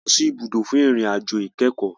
A lọ sì ibùdó fún ìrìn àjò ìkẹ́kọ̀.